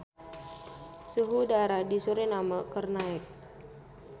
Suhu udara di Suriname keur naek